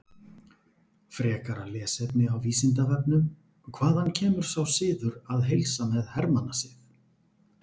Frekara lesefni á Vísindavefnum: Hvaðan kemur sá siður að heilsa að hermannasið?